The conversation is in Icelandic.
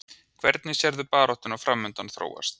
Hvernig sérðu baráttuna framundan þróast?